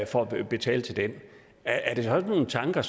for at betale til den er det sådan nogle tanker